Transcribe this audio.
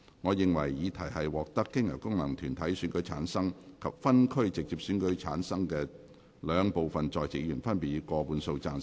我認為議題獲得經由功能團體選舉產生及分區直接選舉產生的兩部分在席議員，分別以過半數贊成。